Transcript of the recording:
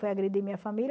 Foi agredir minha família?